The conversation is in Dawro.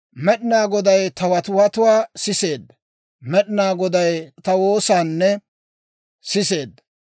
Med'inaa Goday ta watiwatuwaa siseedda; Med'inaa Goday ta woosaanne sisee.